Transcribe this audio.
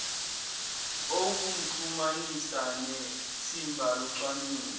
okumxhumanisa nethimba locwaningo